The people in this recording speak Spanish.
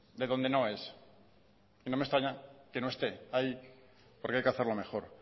de donde no es y no me extraña que no esté ahí porque hay que hacerlo mejor